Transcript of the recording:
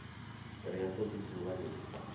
ri ha todi dzuvha li